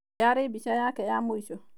Yarĩ mbica yake ya mũico.